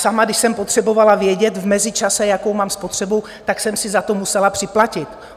Sama, když jsem potřebovala vědět v mezičase, jakou mám spotřebu, tak jsem si za to musela připlatit.